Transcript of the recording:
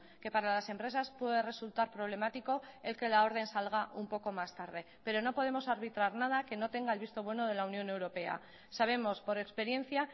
que para las empresas puede resultar problemático el que la orden salga un poco más tarde pero no podemos arbitrar nada que no tenga el visto bueno de la unión europea sabemos por experiencia